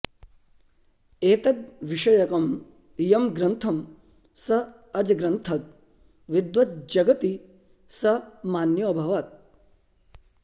एतद्विषयकं यं ग्रन्थं स अजग्रन्थद् विद्वज्जगति स मान्योऽभवत्